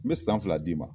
N bɛ san fila d'i ma